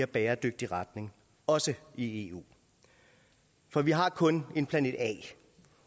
bæredygtig retning også i eu for vi har kun en planet a